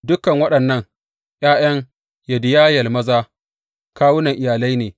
Dukan waɗannan ’ya’yan Yediyayel maza kawunan iyalai ne.